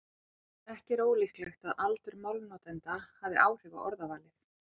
Ekki er ólíklegt að aldur málnotenda hafi áhrif á orðavalið.